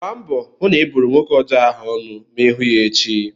Gbaa mbọ hụ na ị buru nwoke ọjọọ ahụ ọnụ ma ị hụ ya echi!